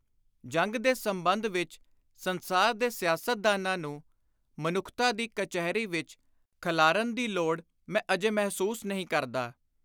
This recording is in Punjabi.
ਜੰਗ ਦੇ ਸੰਬੰਧ ਵਿਚ ਸੰਸਾਰ ਦੇ ਸਿਆਸਤਦਾਨਾਂ ਨੂੰ ਮਨੁੱਖਤਾ ਦੀ ਕਚਹਿਰੀ ਵਿਚ ਖਲ੍ਹਾਰਨ ਦੀ ਲੋੜ ਮੈਂ ਅਜੇ ਮਹਿਸੁਸ ਨਹੀਂ ਕਰਦਾ।